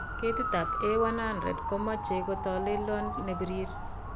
Ketitab A100 komoche kotolelion nebirir.